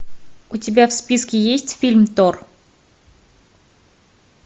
у тебя в списке есть фильм тор